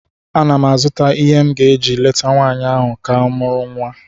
Ana m azụta ihe m ga-eji leta nwanyị ahụ ka mụrụ nwa